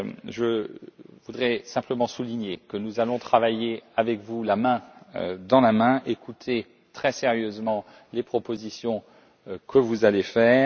Je voudrais simplement souligner que nous allons travailler main dans la main avec vous et écouter très sérieusement les propositions que vous allez faire.